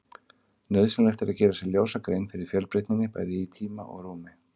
Nauðsynlegt er að gera sér ljósa grein fyrir fjölbreytninni, bæði í tíma og rúmi.